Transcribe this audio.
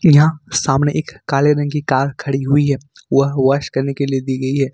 यहां सामने एक काले रंग की कार खड़ी हुई है वह वाश करने के लिए दी गई है।